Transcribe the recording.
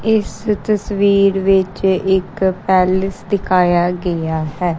ਇਸ ਤਸਵੀਰ ਵਿੱਚ ਇੱਕ ਪੈਲੇਸ ਦਿਖਾਇਆ ਗਿਆ ਹੈ।